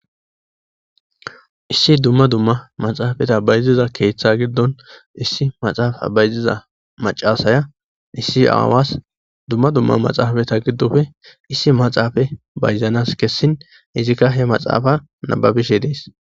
Issi duma duma maxafeza bayziza ketha gidoni issi maxafa bayziza mac'asiya issi awas duma duma maxafeta gidope issi maxafe bayzanas kesin izika he maxafa nababishe dees.